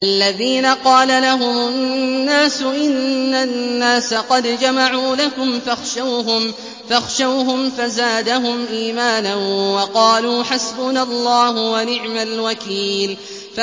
الَّذِينَ قَالَ لَهُمُ النَّاسُ إِنَّ النَّاسَ قَدْ جَمَعُوا لَكُمْ فَاخْشَوْهُمْ فَزَادَهُمْ إِيمَانًا وَقَالُوا حَسْبُنَا اللَّهُ وَنِعْمَ الْوَكِيلُ